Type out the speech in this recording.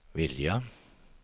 vilja